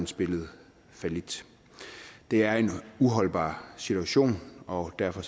spillet fallit det er en uholdbar situation og derfor